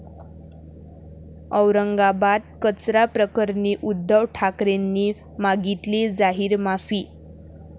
औरंगाबाद कचरा प्रकरणी उद्धव ठाकरेंनी मागितली जाहीर माफी